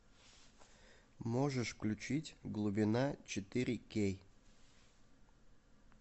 можешь включить глубина четыре кей